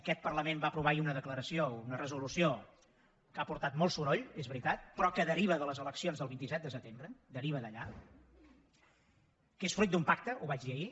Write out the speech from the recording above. aquest parlament va aprovar ahir una declaració una resolució que ha portat molt soroll és veritat però que deriva de les eleccions del vint set de setembre deriva d’allà que és fruit d’un pacte ho vaig dir ahir